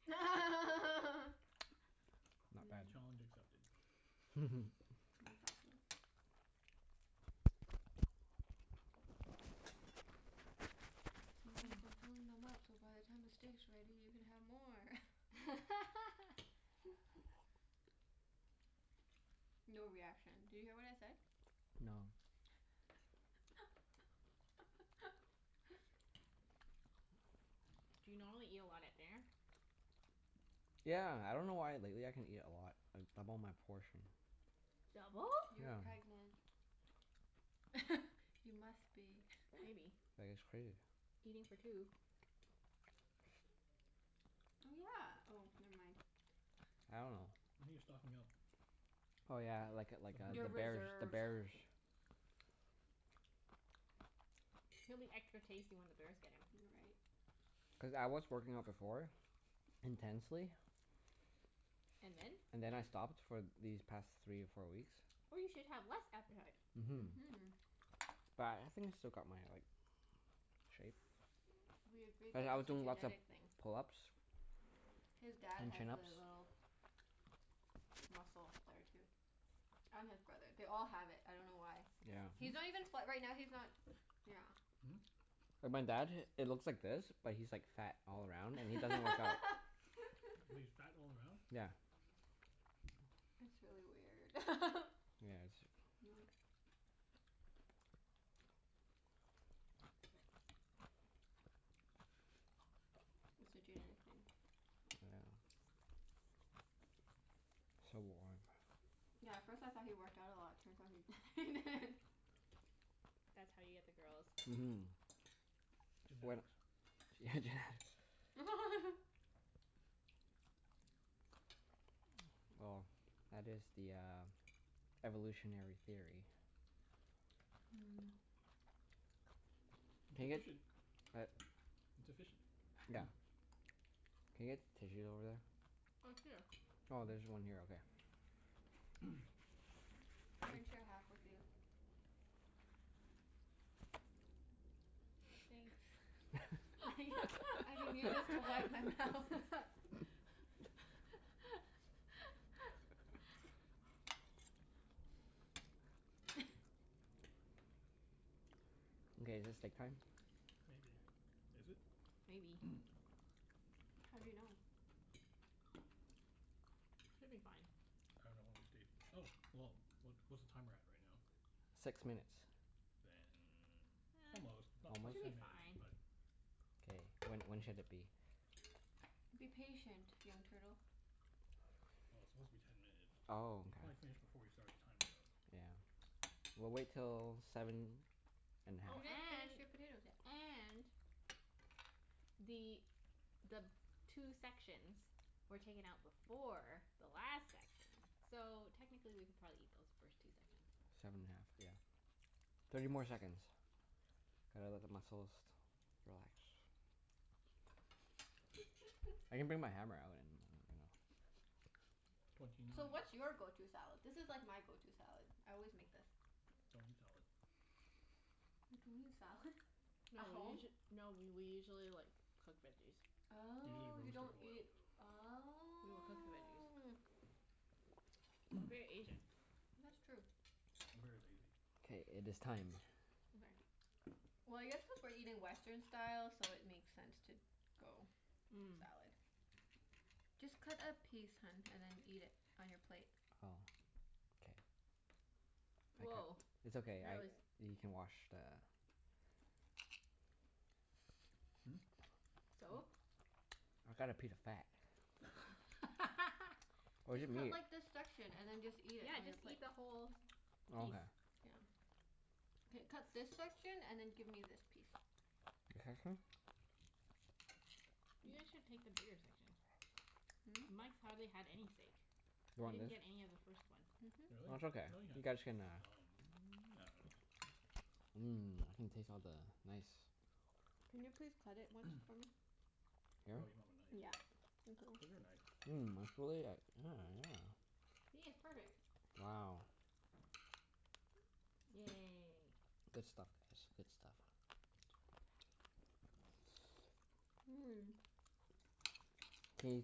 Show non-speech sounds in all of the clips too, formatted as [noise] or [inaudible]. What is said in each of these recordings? [noise] [noise] [laughs] [noise] Not bad. Challenge accepted. Mmm. [noise] [noise] Exactly. [laughs] [noise] [noise] See Mike? I'm [noise] filling them up so by the time the steak's ready you can have more. [laughs] [laughs] [noise] [laughs] [noise] [noise] [noise] No reaction. Did you hear what I said? No. [laughs] [noise] [noise] Do you normally eat a lot at dinner? [noise] [laughs] Yeah. I dunno why but lately I can eat a lot. I double my portion. [noise] Double? [noise] You're pregnant. [noise] [noise] Yeah. [laughs] You must be. [noise] Maybe. [laughs] [noise] I guess. Crazy. Eating for two. [noise] Oh, yeah. Oh, never mind. [noise] I dunno. [noise] [noise] Maybe you're stocking up? [noise] Oh yeah, like a like For [noise] a, the Your the birth [inaudible] bears. The reserves. bears. [noise] He'll be extra tasty when the bears get him. [noise] You're right. [noise] Cuz I was [noise] working out before. [laughs] Intensely. [noise] And then? And then I stopped for these past three or four weeks. [noise] Oh, you should have less appetite. Mhm. [noise] But I think I still got my like, [noise] shape. [noise] Mhm. [noise] We [noise] agreed But that I was that's a doing lots of genetic thing. [noise] pull-ups [noise] His dad and has chin-ups. the [noise] little Hmm? [noise] muscle there too. [noise] And his brother. They all [noise] have it. I dunno why. Yeah. He's not even fa- right now, he's not Yeah. Hmm? [noise] [noise] And my dad, it looks like this but he's like fat [noise] [noise] all [noise] around and he doesn't work [noise] out. He's fat [laughs] all around? [noise] [noise] Yeah. [laughs] [noise] It's really weird. [laughs] [noise] [noise] Yeah, [noise] it Not [laughs] is. [noise] It's a genetic thing. [noise] [noise] Yeah. [noise] So warm. [noise] Yeah, at first I thought he worked out a lot. Turns out he [laughs] he didn't. [laughs] [noise] [laughs] [noise] [noise] [noise] That's how you get the girls. [noise] Mhm. [noise] When, yeah, genetics. [noise] Genetics. [noise] Well, that is the uh, [noise] [noise] evolutionary theory. [noise] [laughs] Mm. [noise] It's Can I get, efficient. uh, It's efficient. [noise] [noise] yeah, can I get tissues over [noise] Oh, here. there? [noise] Oh, there's one here. Okay. Hmm? [noise] [noise] I can share half with you. [noise] Thanks. [noise] [laughs] I can use this to wipe my mouth. [laughs] [laughs] [laughs] [laughs] [noise] Okay, is it steak time? [noise] Maybe. Is it? [noise] Maybe. [noise] How do you know? [noise] Should be fine. [noise] I dunno when we stayed, oh, well, what what's the timer at right now? [noise] Six minutes. [noise] Then almost, [noise] not Almost? Should quite be ten minutes, fine. but [noise] Well, K, when when should it be? [noise] Be patient, young turtle. it's supposed to be ten [noise] minutes. Oh, You probably finished before we started the timer okay. though. Yeah. We'll wait till seven [noise] [noise] and a Oh You half. didn't and finish your potatoes yet. and [noise] the the two sections were taken out before the last section. So, technically we could probably eat those first two sections. [noise] Seven and a half, yeah. [noise] [noise] Thirty more seconds. Gotta let the muscles [noise] relax. [noise] [noise] Twenty [noise] [noise] I can nine. bring my hammer out and [laughs] [noise] you know [noise] [noise] So, what's your go- [laughs] to Don't salad? This is like my go- to salad. I always eat make this. [noise] salad. You don't eat salad? [noise] [laughs] No At we home? usu- no we we usually [noise] like cook veggies. [noise] [noise] Usually Oh, you roast or don't boil. eat, [noise] We will cook the veggies. oh We're very Asian. [noise] [noise] That's true. I'm very lazy. [noise] K, it is time. [noise] Okay. [noise] Well, I guess cuz we're eating Western style, so it makes sense to [noise] go salad. Just cut a piece, hun, Mm. and then eat it on your plate. Oh. K. [noise] I cut, Woah, it's that okay. I, was you can [noise] wash the [noise] [noise] Hmm? [laughs] [laughs] What? So? [noise] I got a piece of fat. [noise] [noise] [noise] Where's Just the cut meat? like this section, and then just [laughs] eat it Yeah, on your just plate. eat [noise] the whole [noise] Okay. piece. [noise] Yeah. [noise] K, cut this section and then give me this piece. This section? [noise] You guys should take the bigger [noise] [noise] section. [noise] Really? Hmm? Mike's hardly had any steak. [noise] You He want didn't this? get any of the first one. [noise] That's okay. No, he You had guys [noise] some. I can uh dunno. [noise] Mhm. Mmm. I can taste all the nice [noise] Can you please cut it once for me? [noise] [noise] [noise] Here? Oh, [noise] you don't have a [noise] knife. Yeah. Thank you. Get her a knife. Mmm, it's really like, yeah, yeah. See? It's perfect. [noise] Wow. Yay. [noise] Good stuff guys. Good stuff. [noise] It's really fatty. [noise] Mmm. [noise] Can you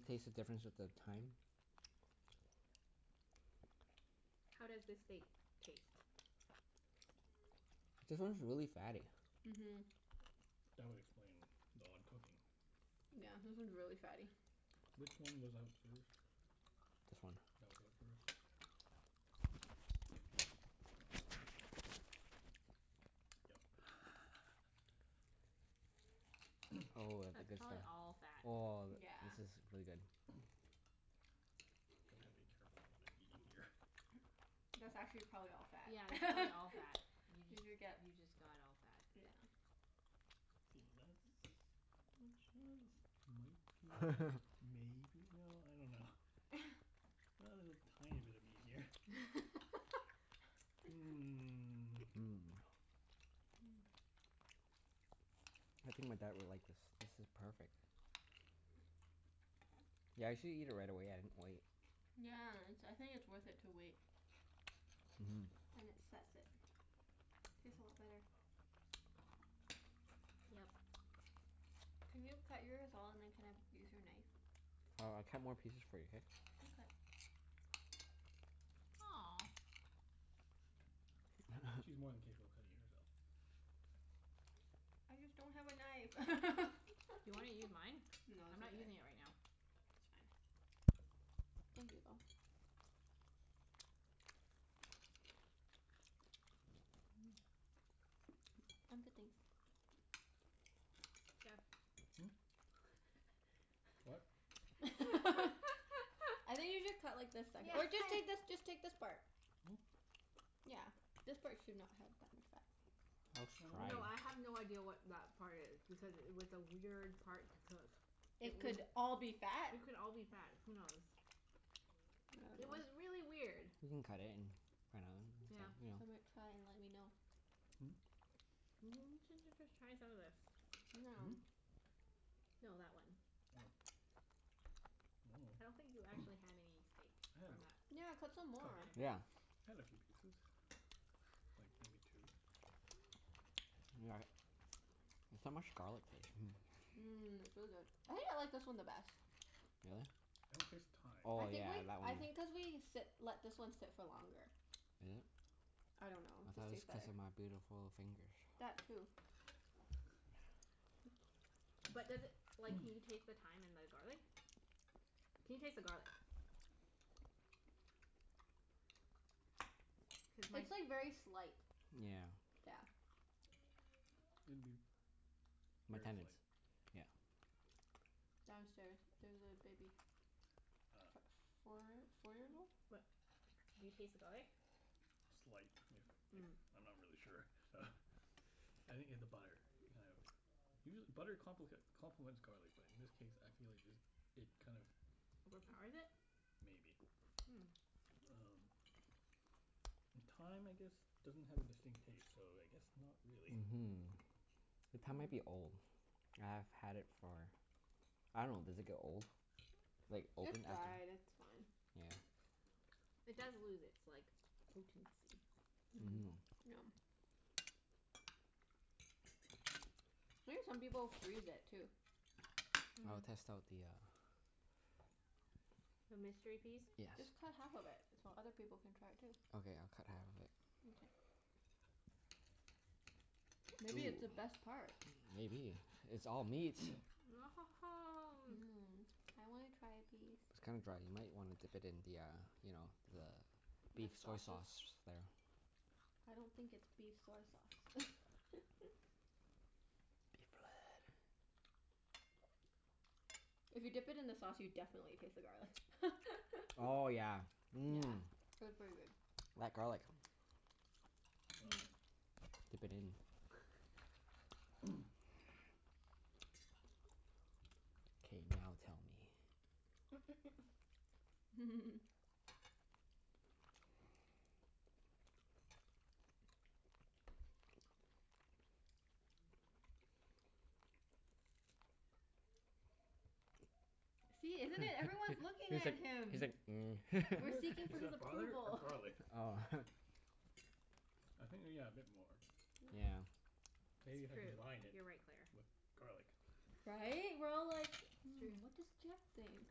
taste the difference with the thyme? How does this steak taste? [noise] This one's really fatty. [noise] Mhm. That would explain the odd cooking. [noise] [noise] Yeah, this one's really fatty. Which one was out first? This one. [noise] That was out first? [noise] Um, yep. [noise] [noise] [laughs] [noise] Oh, of the That's good probably stuff. all fat. Oh, [noise] Yeah. this is really good. [noise] [noise] Gonna have to be careful of what I'm eating here. [noise] That's actually probably [noise] all Yeah, that's probably fat. all fat. [laughs] You Did just, you get, you just got all fat. yeah. See, that's pretty much, [noise] ah this might be, maybe, no, I dunno. [laughs] [noise] A little [laughs] tiny bit of meat here. [noise] [laughs] [noise] Mmm. Mmm. Mm. [noise] I think my dad would like this. This is perfect. [noise] [noise] Yeah, I usually eat it right away. I didn't wait. [noise] Yeah, it's, I think it's worth it to wait. [noise] Mhm. Then it sets it. Tastes a lot better. [noise] [noise] Yep. Can you cut yours all and then can I use your knife? [noise] [noise] Oh, I'll cut more pieces for you, k? [noise] Aw. [noise] [noise] She's more than capable of cutting it herself. [laughs] [laughs] Okay. [noise] I just don't have a knife. [noise] Do you wanna use [laughs] mine? No, I'm it's not okay. using it [noise] It's right now. fine. [laughs] [noise] [noise] Thank you, though. [noise] Mmm. Hmm? [noise] I'm good, thanks. [noise] [noise] Jeff. [noise] [noise] [laughs] [laughs] I What? think you should cut like the se- or just take this, just take this part. Yeah. [noise] [noise] Yeah. This part should not have that much fat. [noise] [noise] Nice try. No, I have no idea what that part is. Because it was a weird part to cook. Hmm? [noise] It It would could all be fat. It could all be [noise] I fat. Who knows? [noise] It was really weird. [noise] We can cut it and find [noise] Yeah. out dunno. [noise] Some might [noise] [noise] Hmm? [noise] try and let me know. [noise] N- j- j- just try some of the, this. [noise] you know Hmm? Now. No, that one. Oh. I I dunno. don't think you actually [noise] had any steak I had a from that. [noise] coup- Yeah, cut some [noise] more. [inaudible] piece. Yeah. [noise] [noise] I had a few pieces. Like maybe two. We got it. [noise] There's so much [noise] garlic taste. Hmm. [noise] [noise] Mmm, it's really Really? good. I think I like this one the best. [noise] [noise] I don't taste the thyme. [noise] Oh I think yeah, like, that I one. [noise] [laughs] Is it? [noise] I think cuz thought it we sit, let this one sit for longer. I don't know. Just tastes was cuz better. of my beautiful fingers. [noise] [noise] That too. [noise] [laughs] But does it, like, can you taste the thyme and the garlic? [noise] Can you taste the garlic? [noise] [noise] [noise] [noise] Cuz mine It'd It's like very slight. [noise] Yeah. Yeah. be [noise] My very tenants, slight. yeah. [noise] [noise] Downstairs. There's a baby. [noise] [noise] Ah. F- four four years old? [noise] But do you taste the garlic? [noise] Slight, if if, Mm. I'm not really sure. [noise] I think it's the butter, it kind of, usual- butter complic- complements garlic but in this case I feel like just, it kind of [laughs] [noise] Overpowers it? Maybe. [noise] Um And [noise] thyme I guess doesn't have a distinct taste, so I guess not [noise] Hmm. really. Mhm. The thyme might be old. [noise] [noise] I've had it for, I dunno, does it get old? Mm. Like, [noise] It's open after dried. It's fine. [noise] [noise] It does Yeah. lose its like, potency. [noise] Mm, yeah. Mhm. [noise] I think some people freeze it, [noise] too. [noise] [noise] I will Mhm. test out the uh, [noise] The mystery piece? [noise] yes. Just cut half of it so other people can try it too. Okay, I'll cut half of it. Mkay. [noise] Ooh, Maybe it's the best part? maybe. It's all meat. [noise] [noise] [noise] Mmm. I wanna try a [noise] piece. It's kinda dry. You might wanna dip it in the uh, you know, the [noise] The beef soy sauces? sauce there. [noise] I don't [noise] think it's beef Beef soy sauce. blood. [laughs] [noise] [noise] [noise] If you dip it in the sauce, you definitely taste the garlic. [noise] Oh yeah, [noise] Yeah. mmm. P- pretty good. [noise] Mhm. [noise] [noise] That garlic. Well then. [noise] Dip it in. [noise] [laughs] [noise] [noise] [noise] K, now tell me. [laughs] [noise] [noise] [laughs] [noise] [noise] [noise] [laughs] See, He's isn't it? Everyone's looking like, at he's him. like, [noise] mm. We're Butter? seeking for Is his that butter or approval. [laughs] garlic? Oh. [laughs] [noise] [noise] I think yeah, a bit more. [noise] [noise] [noise] Yeah. Maybe if It's I true. combined it You're right, Claire. with garlic. [noise] Right? We're all like, It's Yeah. "Hmm, what does true. Jeff think?"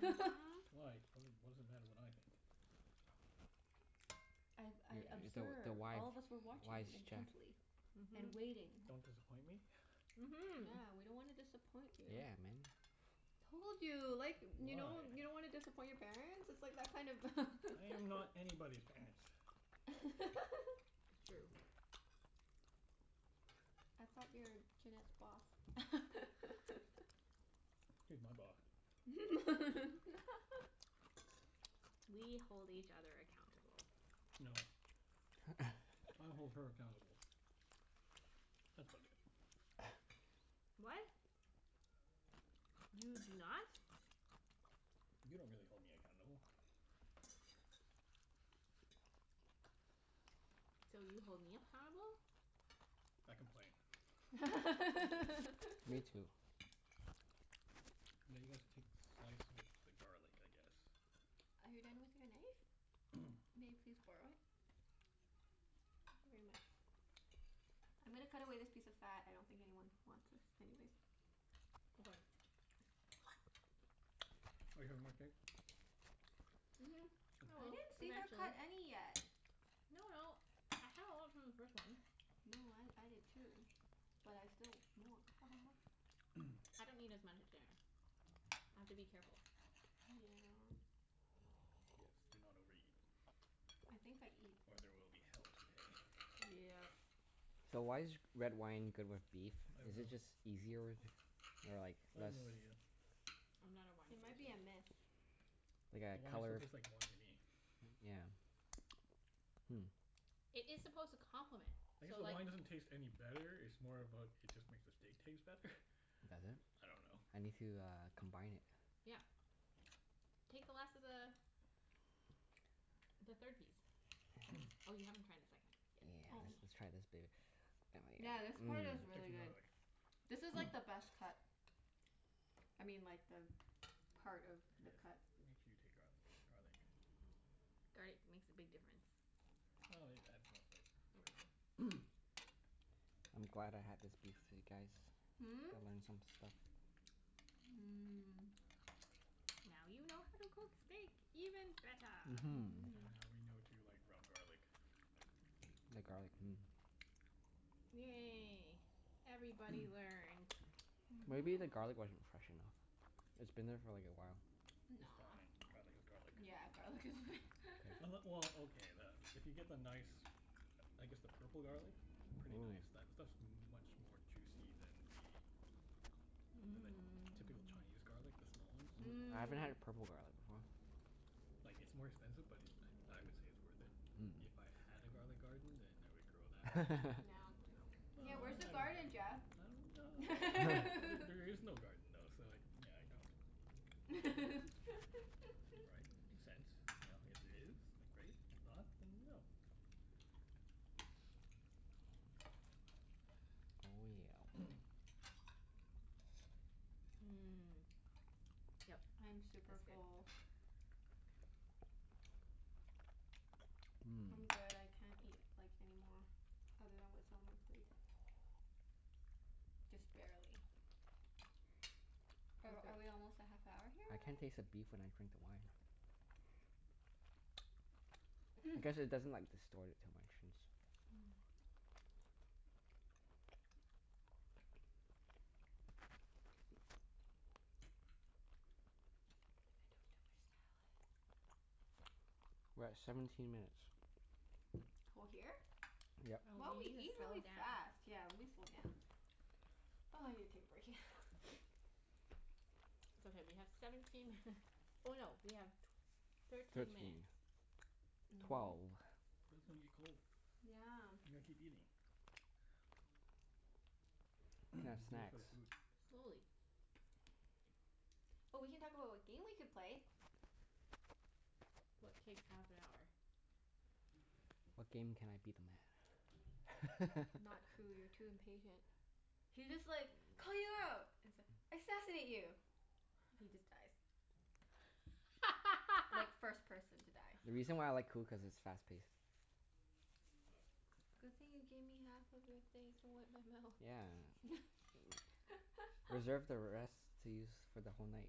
[laughs] Why? What d- what does it matter what I think? [noise] I've, I [noise] You're the the observe, wife all of us were watching wise you chef. intently. [noise] And Mhm. waiting. Don't disappoint me? [noise] Mhm. Yeah. We don't wanna disappoint [noise] you. [noise] Told you. Like, you know? You Why? don't wanna disappoint your parents? It's like that kind of [laughs] Yeah, I am not anybody's parents. [laughs] [noise] [noise] It's true. man. [noise] I thought you were Junette's boss? She's my boss. [noise] [laughs] [noise] We hold each other accountable. [noise] [noise] No. [noise] [noise] I hold her accountable. [laughs] [noise] That's about it. [noise] What? [noise] [noise] [noise] You do not. [laughs] [noise] You don't really hold me accountable. [noise] So, you hold me appountable? [noise] I [noise] complain. [laughs] [noise] Are [laughs] [noise] Now Me too. [noise] you guys take slice with the garlic, I guess? you done with your knife? [noise] May I please borrow it? [noise] [noise] Thank you very much. [noise] I'm gonna cut away this piece of fat. I don't think anyone wants this anyways. [noise] Okay. [noise] Are you having more steak? [noise] Mhm, I I will. [inaudible] didn't see her Eventually. cut any yet. No no, I had a lot from the first one. No, I I did too. But I still mwan- ha ha ha. [noise] I don't eat as much at dinner. I have to be careful. Yeah. [noise] [noise] Yes, do not overeat. I think I eat Or there will be hell to pay. Yep. [noise] [noise] So, why is g- red wine good with beef? I don't Is it know. just [noise] easier, or like, I have less no idea. I'm not a wine It might be person. a myth. Like The a wine still color, tastes like wine to me. yeah. [laughs] [laughs] [noise] It is [noise] supposed to complement. I guess So the like wine doesn't taste any Hmm. better. It's more about, it just makes the steak taste better. [noise] [laughs] [noise] Does it? I don't know. I need to uh, combine it. Yeah. Take the last of the the third piece. [noise] Oh, you haven't tried the second [noise] yet. Yeah, I Oh. see. let's let's try this baby. [noise] [noise] Yeah, Yummy. this Mmm. part is Take some really good. garlic. [noise] This is [noise] like the best cut. [noise] I mean, like the part of the Yes. cut. Make sure you take garlic. Garlic. [noise] Garlic makes a big [noise] difference. Well, yeah, it adds more flavor for sure. [noise] [noise] I'm glad I had this beef with you guys. Hmm? [noise] Mmm. I learned some stuff. [noise] Now you know how to cook steak even [noise] better. And now we know to Mhm. like, rub garlic. [noise] The garlic. Mm. Yay. Everybody [noise] learned. Mhm. [noise] [noise] Maybe the garlic wasn't fresh enough? It's been there for like a while. It's Nah. fine. Garlic is garlic. Yeah, garlic is [noise] [laughs] Unle- well, okay, the, if you get the nice [noise] I guess the purple garlic. [noise] Pretty nice. That stuff's much more juicy than the than the typical Mmm. Chinese garlic. The small ones. Ooh. [noise] I haven't had Mm. a purple garlic before. [noise] Like, it's more expensive but it, I I would say it's worth it. If I had a garlic garden [noise] then I would grow that. [noise] No. Yeah, But where's the Mm. I Mmm. garden, dunno. Jeff? I don't ah, [laughs] there is no garden though, so, yeah, I don't. [noise] [laughs] Right? Makes sense. You know? If there is, then great. If [laughs] not, then no. [noise] [noise] Oh Mmm. Yep. [noise] I'm super That's good. full. yeah. [noise] [noise] I'm good. I can't eat, like, any more. Other than [noise] what's on my plate. [noise] [noise] Just Mmm. barely. [noise] [noise] Are That's good. are we almost at half [noise] hour here I can't already? taste the beef when I drink the wine [noise] [noise] I guess it doesn't like, distort it too much since Mm. [noise] [noise] I think I took too much salad. [noise] We're at seventeen minutes. [noise] [noise] Co- here? [noise] [noise] Yep. Wow, Oh, we we need eat to slow really fast. down. Yeah, let me slow down. Oh, I need to take a break, yeah. [noise] It's okay, we have seventeen minut- [noise] oh no, we have tw- [noise] thirteen Thirteen. minutes. [noise] Mhm. Twelve. [noise] But it's gonna get cold. You Yeah. gotta keep eating. Can have [noise] Do it snacks. for the food. [noise] Slowly. [noise] Oh, we can talk about what game we could play. [noise] What takes half an hour? What game can I beat them at? Not Coup. [laughs] You're too impatient. [noise] He just like [inaudible] it's like, assassinate you! He just dies. Like, first person to die. The reason why I like [laughs] Coup, cuz it's fast paced. Good thing you gave me half of your thing to wipe my mouth. Yeah. [noise] Reserve [laughs] the [noise] rest to use for the whole night.